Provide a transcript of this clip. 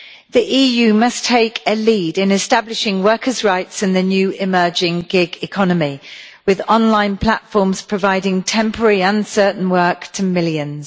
The EU must take a lead in establishing workers' rights in the new emerging gig economy, with online platforms providing temporary uncertain work to millions.